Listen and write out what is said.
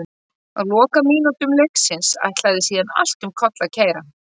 Á lokamínútum leiksins ætlaði síðan allt um koll að keyra.